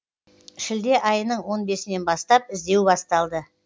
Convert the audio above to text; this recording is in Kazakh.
шілде айының он бесінен бастап іздеу басталды